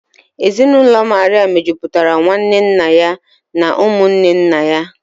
Ezinụlọ Maria mejupụtara nwanne nna ya na ụmụ nwanne nna ya